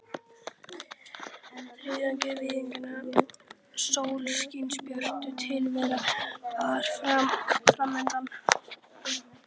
Þriggja vikna sólskinsbjört tilvera var fram undan.